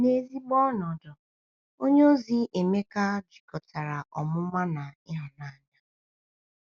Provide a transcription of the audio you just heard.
N’ezigbo ọnọdụ, onyeozi Emeka jikọtara ọmụma na ịhụnanya.